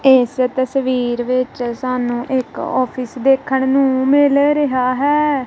ਇਸ ਤਸਵੀਰ ਵਿੱਚ ਸਾਨੂੰ ਇੱਕ ਆਫਿਸ ਦੇਖਣ ਨੂੰ ਮਿਲ ਰਿਹਾ ਹੈ।